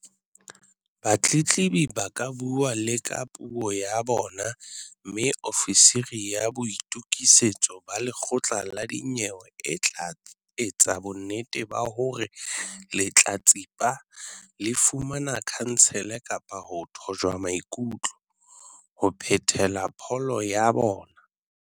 Batletlebi ba ka bua le ka puo ya bona mme ofisiri ya boitokisetso ba lekgotla la dinyewe e tla etsa bonnete ba hore lehlatsipa le fumane khansele kapa ho thojwa maikutlo, ho phethela pholo ya bona.